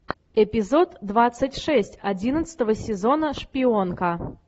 эпизод двадцать шесть одиннадцатого сезона шпионка